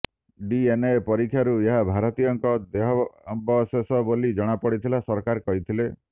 DNA ପରୀକ୍ଷାରୁ ଏହା ଭାରତୀୟଙ୍କ ଦେହାବଶେଷ ବୋଲି ଜଣାପଡିଥିବା ସରକାର କହିଥିଲେ